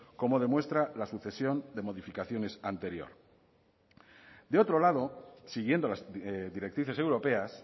como demuestra la sucesión de modificaciones anterior de otro lado siguiendo las directrices europeas